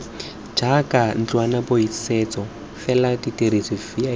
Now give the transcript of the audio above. jaaka ntlwanaboithusetso fela dirisa vip